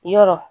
Yɔrɔ